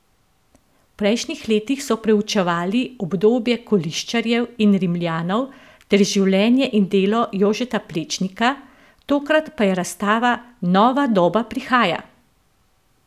V prejšnjih letih so preučevali obdobje koliščarjev in Rimljanov ter življenje in delo Jožeta Plečnika, tokrat pa je razstava Nova doba prihaja!